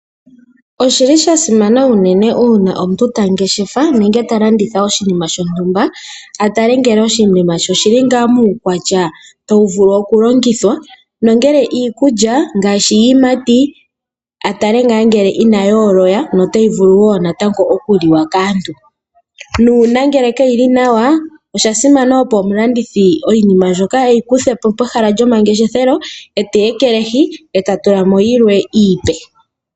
Osha simana unene ngele omuntu ta ngeshefa nenge ta landitha oshinima shontumba a tale ngele oshinima she oshi li ngaa muukwatya tawu vulu okulongithwa nongele iikulya ngaashi iiyimati a tale ngaa ngele inayi ola notayi vulu okuliwa kaantu. Uuna yaa li nawa a simana, opo omulandithi iinima mbyoka e yi kuthe po pehala lyomangeshefelo e teyi ekelehi e ta tula po yilwe iipe.